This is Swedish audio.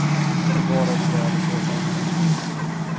Bevare oss väl i så fall.